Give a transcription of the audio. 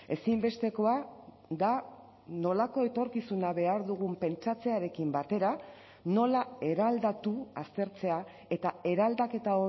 ezinbestekoa da nolako etorkizuna behar dugun pentsatzearekin batera nola eraldatu aztertzea eta eraldaketa